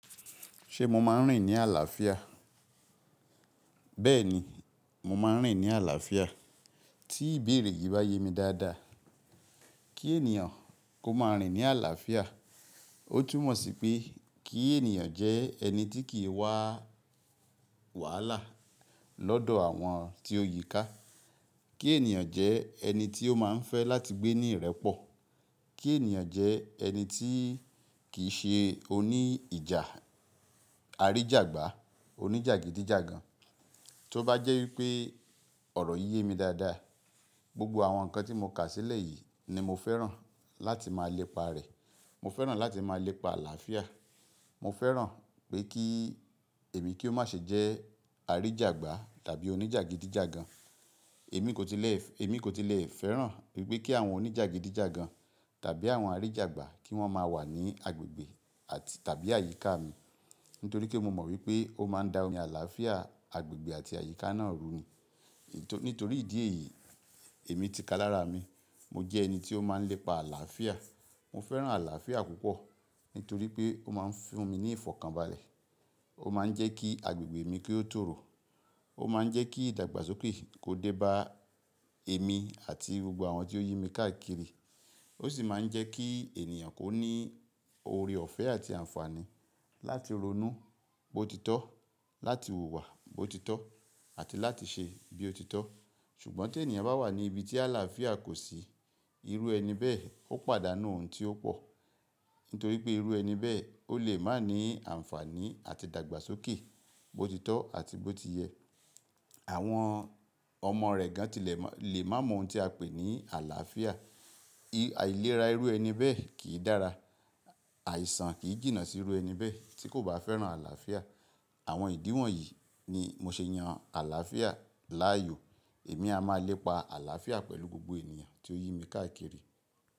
Ṣé mo máa ń rìn ní àlàáfíà? Bẹ́ẹ̀ni, mo máa ń rìn ní àlàáfíà. Tí ìbéèrè yìí bá yé mi dáadáa, kí ènìyàn kó máa rìn ní àlàáfíà, ó túmọ̀ sí pé kí ènìyàn jẹ́ ẹni tí kì í wá a wàhálà lọ́dọ̀ àwọn tí ó yíká. Kí ènìyàn jẹ́ ẹni tí ó máa ń fẹ́ láti gbé ní ìrẹ́pọ̀. Kí ènìyàn jẹ́ ẹni tí kì í ṣe oní ìjà, aríjàgbá, oníjàgídíjàgan. Tó bá jẹ́ ipé ọ̀rọ̀ yìí yé mi dáadáa, gbogbo àwọn nǹkan tí mo kà sílẹ̀ yìí ni mo fẹ́ràn láti máa lépa rẹ̀. Mo fẹ́ràn láti máa lépa àlàáfíà. Mo fẹ́ràn pé kí èmi kí ó má ṣe jẹ́ aríjàgbá tàbí oníjàgídíjàgan. Èmi kò tilẹ̀, èmi kò tilẹ̀ fẹ́ràn wípé kí àwọn oníjàgídíjàgan tàbí àwọn aríjàgbá kí wọ́n máa wà ní agbègbè àti tàbí àyíká mi. Nítorí pé mo mọ̀ wípé ó máa ń da omi àlàáfíà agbègbè àti àyíká náà ru. Nítorí ìdí èyí, èmi ti kalára mi. Mo jẹ́ ẹni tí ó máa ń lépa àlàáfíà. Mo fẹ́ràn àlàáfíà púpọ̀ nítorí pé ó máa ń fún mi ní ìfọ̀kànbalẹ̀. Ó máa ń jẹ́ kí agbègbè mi kí ó tòòro. Ó máa ń jẹ́ kí ìdàgbàsókè kó dé bá èmi àti gbogbo àwọn tí ó yí mi káàkiri. Ó sì máa ń jẹ́ kí i ènìyàn kó ní oore ọ̀fẹ́ àti àǹfààní láti ronú. Bó ti tọ́, láti wùwà bó ti tọ́, àti láti ṣe bí ó ti tọ́. Ṣùgbọ́n tí ènìyàn bá wà ní ibi tí àlàáfíà kò sí, irú ẹni bẹ́ẹ̀ ó pàdánù ohun tí ó pọ̀. Nítorí pé irú ẹni bẹ́ẹ̀ ó lè má ní àǹfààní àti ìdàgbàsókè bó ti tọ́ àti bó ti yẹ. Àwọn ọmọ rẹ̀ gan-an tilẹ̀ mo lè má mọ ohun tí a pè ní àlàáfíà. Ìlera irú ẹni bẹ́ẹ̀ kì í dára. Àìsàn kì í jìnnà sí irú ẹni bẹ́ẹ̀ tí kò bá fẹ́ràn àlàáfíà. Àwọn ìdí wọ̀nyí ni mo ṣe yan àlàáfíà láàyò. Èmi a máa lépa àlàáfíà pẹ̀lú gbogbo ènìyàn tí ó yí mi káàkiri.